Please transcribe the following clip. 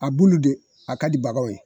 A bulu de, a ka di bagaw ye.